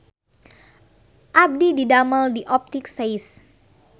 Abdi didamel di Optik Seis